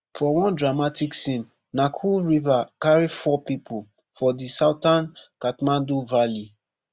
for one dramatic scene nakkhu river carry four pipo for di southern kathmandu valley